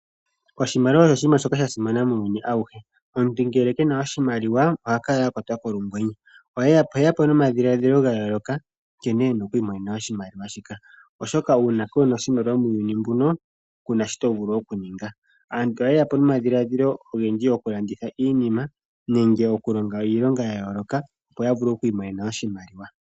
Oshimaliwa osho oshinima shoka sha simana muuyuni awuhe. Omuntu ngele ke na oshimaliwa oha kala a kwatwa kolungwenye. Oheya po nomadhiladhilo ga yooloka nkene e na oku imonena oshimaliwa shika. Oshoka uuna kuuna oshimaliwa muuyuni mbuno, ku na shi to vulu oku ninga. Aantu ohaye ya po nomadhiladhilo ogendji oku landitha iinima nenge oku longa iilonga ya yooloka opo ya vule oku imonena oshimaliwa.